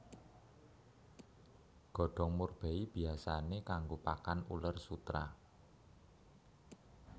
Godhong murbei biyasané kanggo pakan uler sutera